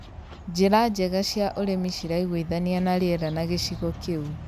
njĩra njega cia ũrĩmi ciraiguithania na rĩera na gĩcigo kĩu.